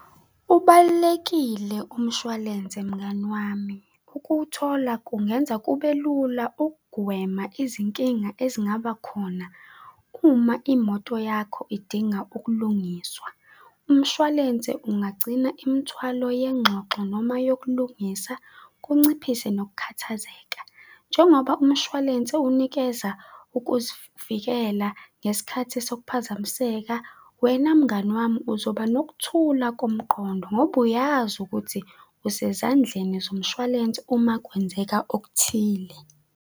Ubalulekile umshwalense mngani wami. Ukuwuthola kungenza kubelula ukugwema izinkinga ezingaba khona uma imoto yakho idinga ukulungiswa. Umshwalense ungagcina imithwalo yenxoxo noma yokulungisa, kunciphise nokukhathazeka. Njengoba umshwalense unikeza ukuzivikela ngesikhathi sokuphazamiseka, wena mngani wami, uzoba nokuthula komqondo ngoba uyazi ukuthi usezandleni zomshwalense uma kwenzeka okuthile.